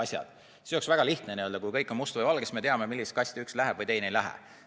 Siis oleks väga lihtne, kui kõik oleks kas mustad või valged, siis me teaksime, millisesse kasti üks läheb või teine ei lähe.